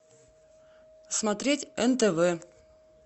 смотреть нтв